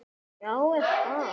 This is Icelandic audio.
Jóhann: Gefurðu það upp?